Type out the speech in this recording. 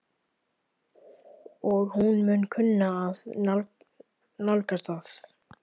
Og hún mun kunna að nálgast það.